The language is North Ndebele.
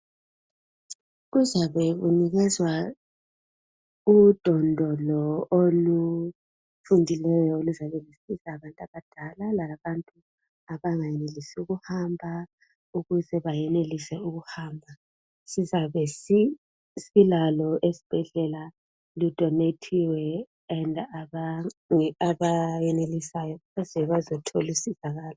Kuzabe kunekezwa udondolo olufundileyo oluzabe lusiza abantu abadala labantu abangenelisiyo ukuhamba ukuze bayenelise ukuhamba. Sizabe silalo esibhedlela ludonethiwe, abayenelisayo baze bazothola usizakalo.